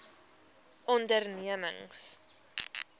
ondernemings